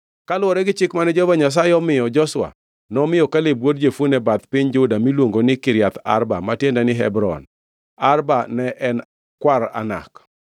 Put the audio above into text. Kaluwore gi chik mane Jehova Nyasaye omiyo Joshua, nomiyo Kaleb wuod Jefune bath piny Juda miluongo ni, Kiriath Arba, ma tiende ni, Hebron. (Arba ne en kwar Anak.)